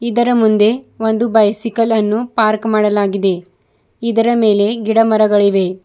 ಮುಂದೆ ಒಂದು ಬೈಸಿಕಲ್ ಅನ್ನು ಪಾರ್ಕ್ ಮಾಡಲಾಗಿದೆ ಇದರ ಮೇಲೆ ಗಿಡ ಮರಗಳಿವೆ.